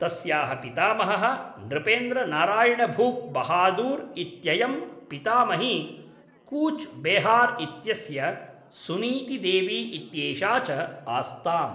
तस्याः पितामहः नृपेन्द्र नारायण् भूप् बहादुर् इत्ययंपितामही कूच् बेहार् इत्यस्य सुनीति देवी इत्येषा च आस्ताम्।